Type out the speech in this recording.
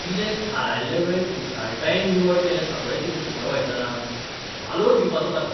कितें थारायिल्ले वेळेंत कुशळटायेन निवळ केलें सगळें कितें सुपरवायझरान. वालोर दिवपाचो ताका.